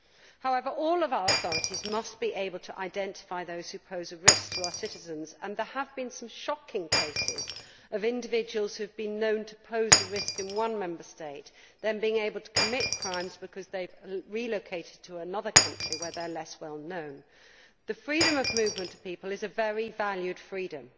However, all of our authorities must be able to identify those who pose a risk to our citizens and there have been some shocking cases of individuals who have been known to pose a risk in one Member State then being able to commit crimes because they relocated to another country where they were less well known. The freedom of movement of people is a very valued freedom,